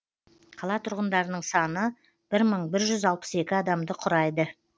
қала тұрғындарының саны мың бір жүз алпыс екі адамды құрайды